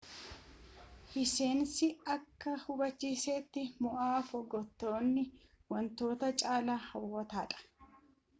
hissehnis akka hubachiisetti maa footooginewaan wantoota caalaaa hawwataadha